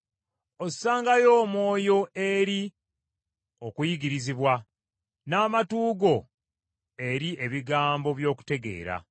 Ossangayo omwoyo eri okuyigirizibwa, n’amatu go eri ebigambo by’okutegeera.